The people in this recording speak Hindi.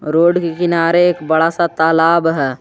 रोड के किनारे एक बड़ा सा तालाब है।